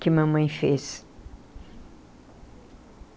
que mamãe fez.